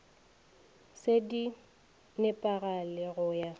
se di nepagale go ya